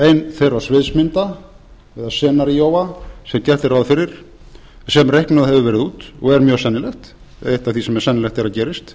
ein þeirra sviðsmynda eða scenarioa sem reiknað hefur verið út og og er mjög sennilegt eitt af því sem er sennilegt að gerist